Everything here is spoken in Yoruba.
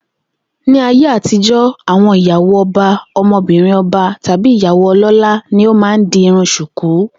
Ní ayé àtijó̩, àwo̩n ìyàwó o̩ba, o̩mo̩bìnrin o̩ba, tàbí ìyàwó o̩ló̩lá ni ó máa ń di irun s̩ùkú